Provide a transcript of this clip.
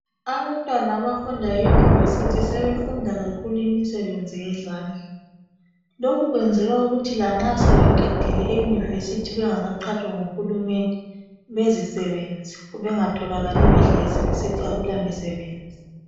Abantwana abafunda e"University " sebefunda kakhulu imisebenzi yezandla lokhu kwenzelwa ukuthi lanxa sebeqedile e"University"bengaka qhatshwa ngu hulumende bezisebenze bengatholakali behlezi besithi akula misebenzi.